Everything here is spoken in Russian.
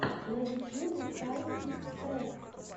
на ютьюбе сайн фикс трек